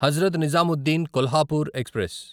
Hazrat Nizamuddin Kolhapur express